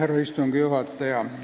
Härra istungi juhataja!